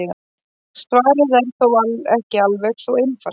Svarið er þó ekki alveg svo einfalt.